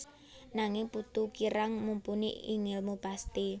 Nanging Putu kirang mumpuni ing ngèlmu pasti